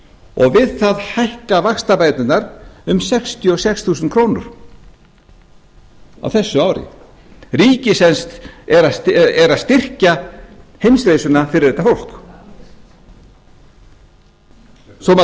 og við það hækka vaxtabæturnar um sextíu og sex þúsund krónur á þessu ári ríkið er sem sagt að styrkja heimsreisuna fyrir þetta fólk svo maður